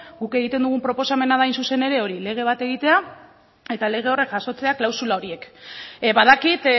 guk egiten dugun proposamena da hain zuzen ere hori lege bat egitea eta lege horrek jasotzea klausula horiek badakit